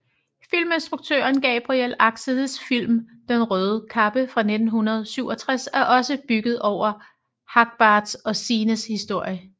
Filminstruktøren Gabriel Axels film Den røde kappe fra 1967 er også bygget over Hagbards og Signes historie